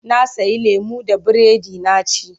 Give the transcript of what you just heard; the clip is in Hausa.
Na sayi lemo da biredi na ci.